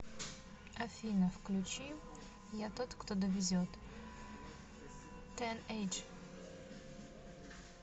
афина включи я тот кто довезет тенэйдж